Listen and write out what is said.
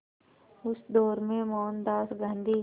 उस दौर में मोहनदास गांधी